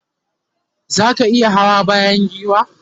zaka iya Hawa bayan giwa?